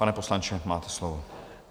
Pane poslanče, máte slovo.